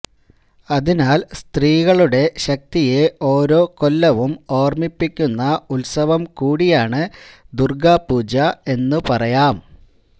അതിനാൽ സ്ത്രീകളുടെ ശക്തിയെ ഓരോ കൊല്ലവും ഓർമിപ്പിക്കുന്ന ഉത്സവം കൂടിയാണ് ദുർഗാപൂജ എന്നുപറയാം